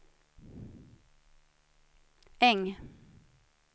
Äng